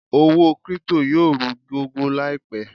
Owó crypto yóò rú gọ́gọ́ láìpẹ̀